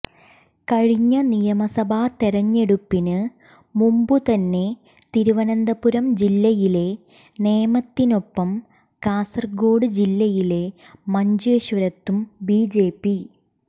കഴിഞ്ഞ നിയമസഭാ തെരഞ്ഞെടുപ്പിന് മുമ്പു തന്നെ തിരുവനന്തപുരം ജില്ലയിലെ നേമത്തിനൊപ്പം കാസര്ഗോഡ് ജില്ലയിലെ മഞ്ചേശ്വരത്തും ബിജെപി